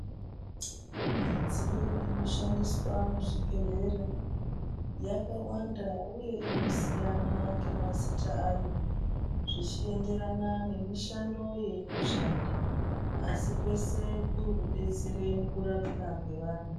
Midziyo inoshandiswa muzvibhendleya yakawanda uye inosiyana ngemazita ayo zvichiendererana nemishando yainoshanda. Asi kwese kuri kudetsera mukurapa kweantu.